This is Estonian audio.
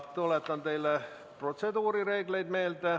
Tuletan teile meelde protseduurireegleid.